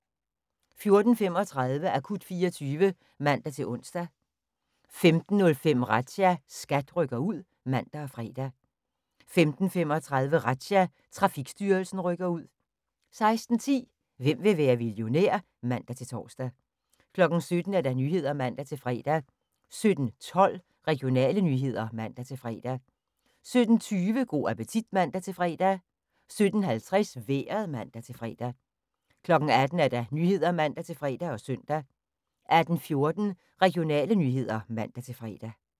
14:35: Akut 24 (man-ons) 15:05: Razzia – SKAT rykker ud (man og fre) 15:35: Razzia – Trafikstyrelsen rykker ud 16:10: Hvem vil være millionær? (man-tor) 17:00: Nyhederne (man-fre) 17:12: Regionale nyheder (man-fre) 17:20: Go' appetit (man-fre) 17:50: Vejret (man-fre) 18:00: Nyhederne (man-fre og søn) 18:14: Regionale nyheder (man-fre)